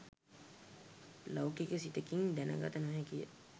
ලෞකික සිතකින් දැනගත නොහැකිය.